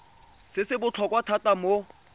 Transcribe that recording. se se botlhokwa thata mo